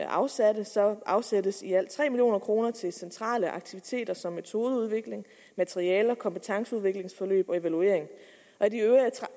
afsatte afsættes i alt tre million kroner til centrale aktiviteter som metodeudvikling materialer kompetanceudviklingsforløb og evaluering